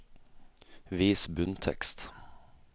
Vis bunntekst